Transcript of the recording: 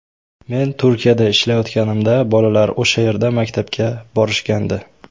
Men Turkiyada ishlayotganimda, bolalar o‘sha yerda maktabga borishgandi.